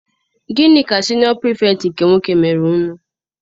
Gịnị ka siniọ Pirifetktị nke nwoke mere unu?